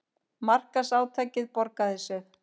Markaðsátakið borgaði sig